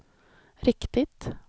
riktigt